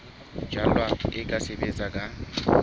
jalwa e ka sebetswa ka